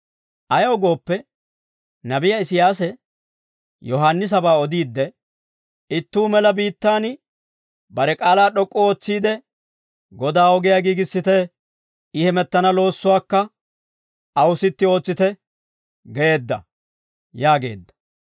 Ayaw gooppe, nabiyaa Isiyaase, Yohaannisabaa odiidde, «Ittuu mela biittaan bare k'aalaa d'ok'k'u ootsiide, ‹Godaa ogiyaa giigissite. I hemettana loossuwaakka aw sitti ootsite› geedda» yaageedda.